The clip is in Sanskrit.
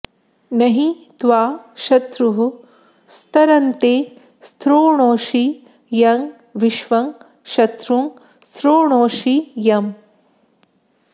न॒हि त्वा॒ शत्रुः॒ स्तर॑ते स्तृ॒णोषि॒ यं विश्वं॒ शत्रुं॑ स्तृ॒णोषि॒ यम्